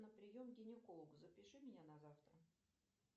на прием к гинекологу запиши меня на завтра